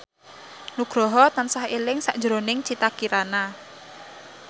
Nugroho tansah eling sakjroning Citra Kirana